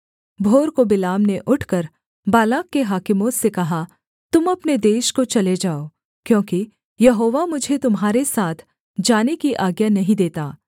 भोर को बिलाम ने उठकर बालाक के हाकिमों से कहा तुम अपने देश को चले जाओ क्योंकि यहोवा मुझे तुम्हारे साथ जाने की आज्ञा नहीं देता